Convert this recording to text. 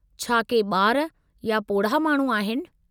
छा के ॿार या पोढ़ा माण्हू आहिनि?